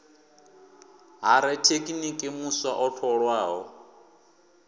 ha rathekiniki muswa o tholwaho